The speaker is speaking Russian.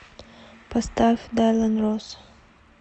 поставь дайлан росс